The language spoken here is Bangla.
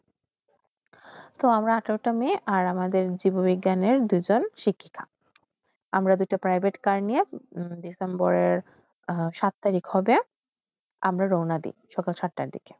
তো আমরা আঠরাটা মে আমাদের জীব বিজ্ঞানের দুইজন শিক্ষিকা আমরা দুইট private car নিয় December রের সাত তারিখ হবে আমরা রোনাদিকে সকল সাততা দিকে